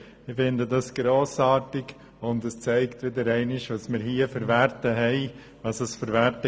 Ich finde das grossartig, und es zeigt wieder einmal, welche Werte wir hier haben.